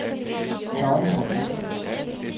Dagmar Bro